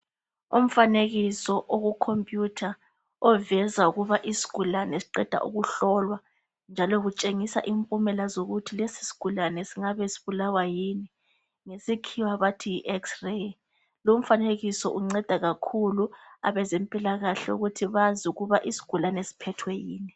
Umfanenekiso okucomputer oveza ukuthi umuntu oqedwa ukuhlola njalo kuveza impumela ukuthi lesi sigulani singabe sibulawa yini ngesikhiwa bathi yi x ray lumfanekiso ungceda kakhulu abezempilakahle ukuthi bazi ukuthi isigulani siphethwe yini